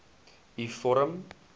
u vorm